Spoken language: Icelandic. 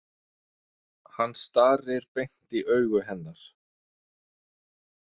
Hann starir beint í augu hennar.